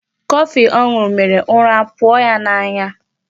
Coffee ọ ṅụrụ mèrè ụra apụọ ya n'anya.